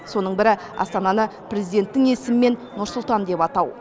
соның бірі астананы президенттің есімімен нұр сұлтан деп атау